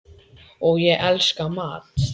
og ég elska mat.